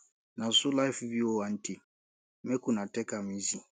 na so life be o aunty make una take am easy